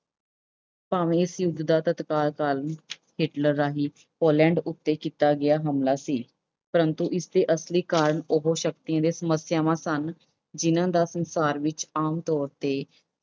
ਭਾਵੇਂ ਇਸ ਯੁੱਧ ਦਾ ਤਤਕਾਲ ਕਾਰਨ Hitler ਰਾਹੀਂ Poland ਉੱਤੇ ਕੀਤਾ ਗਿਆ ਹਮਲਾ ਸੀ। ਪ੍ਰੰਤੂ ਇਸ ਦੇ ਅਸਲੀ ਕਾਰਨ ਉਹ ਸ਼ਕਤੀ ਜਾਂ ਸਮੱਸਿਆਵਾਂ ਸਨ, ਜਿਨ੍ਹਾਂ ਦਾ ਸੰਸਾਰ ਵਿੱਚ ਆਮ ਤੌਰ ਤੇ